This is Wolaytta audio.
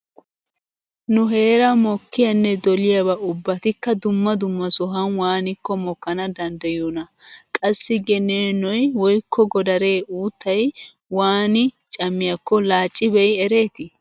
Nu heeran mokkiyanne doliyaba ubbatikka dumma dumma sohan waanikko mokkana danddayiyoonaa? Qassi geneenoy woykko godare uuttay waani cammiyakko laacci be'i ereeti?